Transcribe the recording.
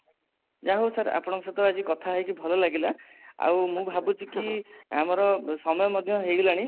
ଯା ହୋଉ sir ଆପଣ ଙ୍କ ସହ ଭଲ ଲାଗିଲା ଆଉ ମୁଁ ଭାବୁଛି କି ଆମର ସମୟ ମଧ୍ୟ ହେଇ ଗଲାଣି